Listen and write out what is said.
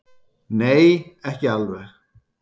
Nei, ekki alveg.